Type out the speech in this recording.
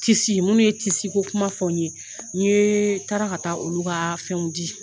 munnu ye ko kuma fɔ n ye, n ye taara ka taa olu ka fɛnw di.